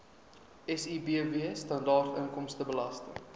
sibw standaard inkomstebelasting